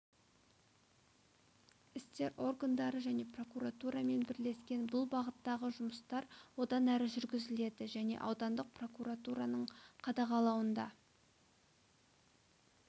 істер органдары және прокуратурамен бірлескен бұл бағыттағы жұмыстар одан әрі жүргізіледі және аудандық прокуратураның қадағалауында